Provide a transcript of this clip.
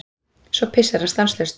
Svo pissar hann stanslaust.